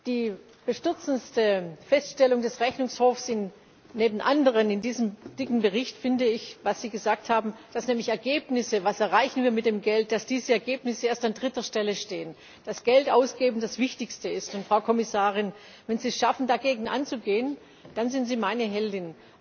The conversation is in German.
Die bestürzendste Feststellung des Rechnungshofs neben anderen in diesem dicken Bericht finde ich, was Sie gesagt haben, dass nämlich Ergebnisse was erreichen wir mit dem Geld dass diese Ergebnisse erst an dritter Stelle stehen, dass Geldausgeben das Wichtigste ist, und, Frau Kommissarin, wenn Sie es schaffen, dagegen anzugehen, dann sind Sie meine Heldin!